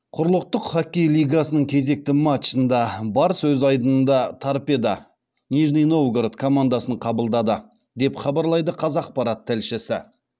құрлықтық хоккей лигасының кезекті матчында барыс өз айдынында торпедо командасын қабылдады деп хабарлайды қазақпарат тілшісі